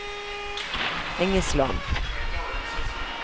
Engesland